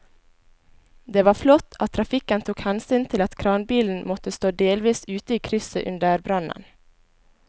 Det var flott at trafikken tok hensyn til at kranbilen måtte stå delvis ute i krysset under brannen.